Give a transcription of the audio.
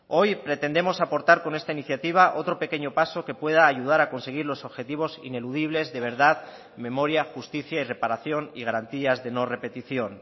hoy pretendemos aportar con esta iniciativa otro pequeño paso que pueda ayudar a conseguir los objetivos ineludibles de verdad memoria justicia y reparación y garantías de no repetición